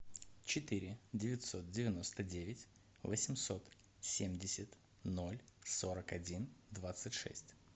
четыре девятьсот девяносто девять восемьсот семьдесят ноль сорок один двадцать шесть